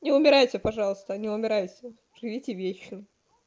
не умирайте пожалуйста не умирайте живите вечно